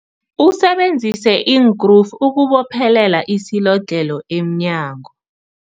Usebenzise iinkrufu ukubophelela isilodlhelo emnyango.